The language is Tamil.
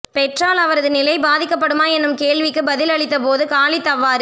பெற்றால் அவரது நிலை பாதிக்கப்படுமா என்னும் கேள்விக்குப் பதில் அளித்த போது காலித் அவ்வாறு